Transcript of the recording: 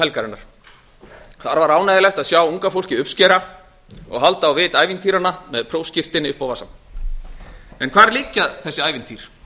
helgarinnar þar var ánægjulegt að sjá unga fólkið uppskera og halda á vit ævintýranna með prófskírteini upp á vasann en hvar liggja þessi ævintýr